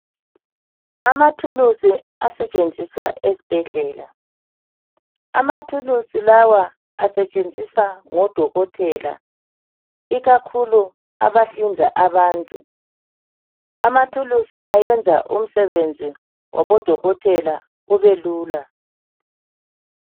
Amathulusi asetshenziswa esibhedlela . Amathulusi lawa asetshenziswa ngodokotela ikakhulu abahlinza abantu. Amathulusi ayenza umsebenzi wabodokotela ubelula.